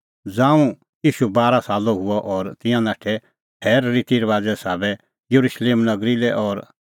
ज़ांऊं ईशू बारा सालो हुअ और तिंयां नाठै थैरे रिती रबाज़े साबै येरुशलेम नगरी लै और